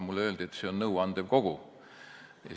Mulle öeldi, et see on nõuandev kogu.